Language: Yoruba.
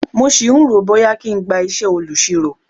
Mo sì ń rò ó bóyá kí n gba isẹ olusiro.